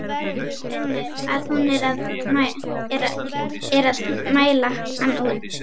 Finnur að hún er að mæla hann út.